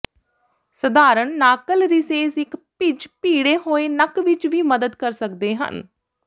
ਸਧਾਰਣ ਨਾਕਲ ਰਿਸੇਸ ਇੱਕ ਭਿੱਜ ਭੀੜੇ ਹੋਏ ਨੱਕ ਵਿੱਚ ਵੀ ਮਦਦ ਕਰ ਸਕਦੇ ਹਨ